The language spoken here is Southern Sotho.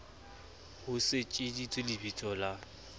ho se tsejiswe lebiso la